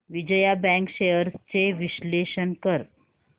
Vijaya bank shares चे विश्लेषण कर